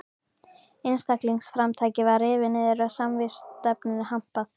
Einstaklingsframtakið var rifið niður og samvinnustefnunni hampað.